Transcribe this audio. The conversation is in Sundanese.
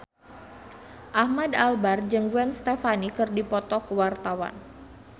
Ahmad Albar jeung Gwen Stefani keur dipoto ku wartawan